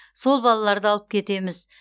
сол балаларды алып кетеміз